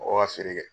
Mɔgɔw ka feere kɛ